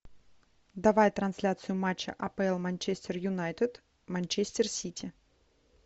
давай трансляцию матча апл манчестер юнайтед манчестер сити